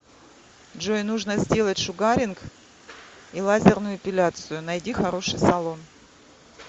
джой нужно сделать шугаринг и лазерную эпиляцию найди хороший салон